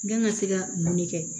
N gɛn ga se ka mun de kɛ